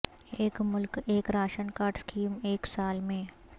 ایک ملک ایک راشن کارڈ اسکیم ایک سال میں